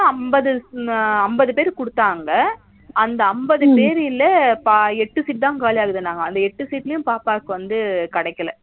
அம்பது அம்பது பேரு குடுத்தாங்க அந்த அம்பது பேருல எட்டு sheet தா காலியாகுதுனாங்க அந்த எட்டு sheet லயும் பாப்பாக்கு வந்து கிடைக்கல